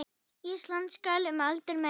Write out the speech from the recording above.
Ísland skal um aldur mey